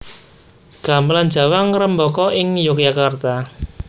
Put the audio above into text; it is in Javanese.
Gamelan Jawa ngrembaka ing Yogyakarta